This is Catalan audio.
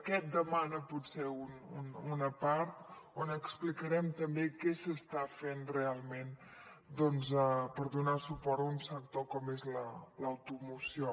aquest demana potser una part on explicarem també què s’està fent realment doncs per donar suport a un sector com és l’automoció